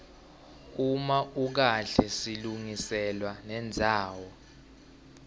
uma ukahle silungiselwa nendzawo